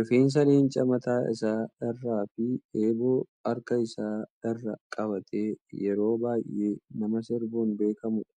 Rifeensa leencaa mataa isaa irraa fi eebboo harka isaa irraa qabatee yeroo baay'ee nama sirbuun beekamu dha.